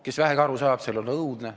Kes vähegi aru saab, sellel on õudne.